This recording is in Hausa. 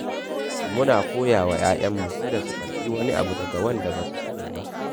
Muna koya wa 'ya'yanmu kada su karɓi wani abu daga wanda ba su sani ba.